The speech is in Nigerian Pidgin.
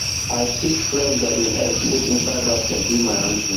i pick fresh garden eggs put inside basket give my aunty